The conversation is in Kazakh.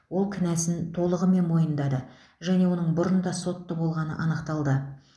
ол кінәсін толығымен мойындады және оның бұрын да сотты болғаны анықталды